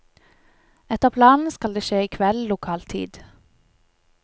Etter planen skal det skje i kveld, lokal tid.